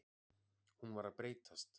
Hún var að breytast.